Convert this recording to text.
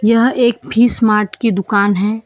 यह एक fish mart की दुकान है।